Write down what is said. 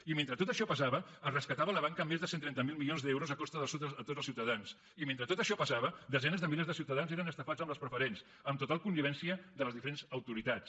i mentre tot això passava es rescatava la banca amb més de cent i trenta miler milions d’euros a costa de tots els ciutadans i mentre tot això passava desenes de milers de ciutadans eren estafats amb les preferents amb total connivència de les diferents autoritats